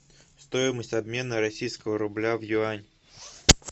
стоимость обмена российского рубля в юань